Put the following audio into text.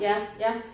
Ja ja